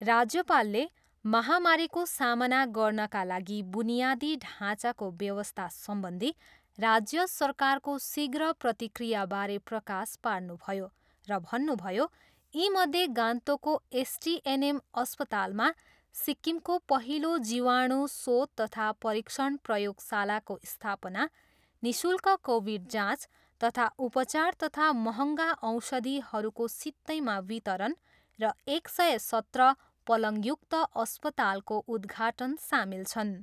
राज्यपालले, महामारीको सामना गर्नाका लागि वुनियादी ढाँचाको व्यवस्था सम्बन्धी राज्य सरकारको शीघ्र प्रतिक्रियावारे प्रकाश पार्नुभयो र भन्नुभयो, यीमध्ये गान्तोकको एसटिएनएम अस्पतालमा सिक्किमको पहिलो जीवाणु शोध तथा परीक्षण प्रयोगशालाको स्थापना, निशुल्क कोविड जाँच तथा उपचार तथा महँगा औषधिहरूको सित्तैमा वितरण र एक सय सत्र पलङयुक्त अस्पतालको उद्घाघाटन सामेल छन्।